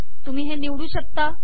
तुम्ही हे निवडू शकता